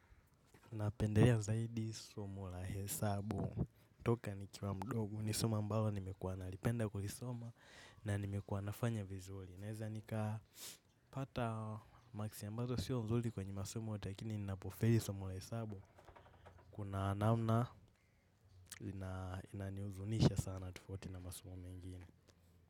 Napendelea zaidi somo la hesabu, toka nikiwa mdogo, ni somo ambalo nimekuwa, nalipenda kulisoma na nimekuwa nafanya vizuli. Naeza nika pata maksi ambazo sio nzuli kwenye masomo yote lakini ninapofeli somo la hesabu, kuna namna inaniuzunisha sana tofauti na masomo mengine.